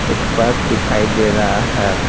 एक पाइप दिखाई दे रहा है।